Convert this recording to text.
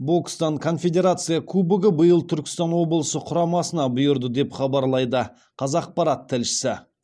бокстан конфедерация кубогы биыл түркістан облысы құрамасына бұйырды деп хабарлайды қазақпарат тілшісі